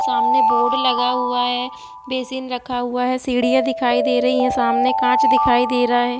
सामने बोर्ड लगा हुआ है ड्रेसिंग रखा हुआ है सीढियाँ दिखाई दे रही है सामने कांच दिखाई दे रहा है ।